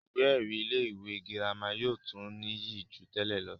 ìwé ẹ̀rí ilé ìwé girama yóò tó níyì jù tẹ́lẹ̀ lọ